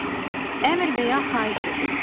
Əmr və ya xahiş edir.